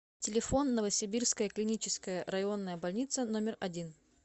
телефон новосибирская клиническая районная больница номер один